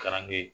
Kalanden